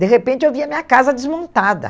De repente, eu via minha casa desmontada.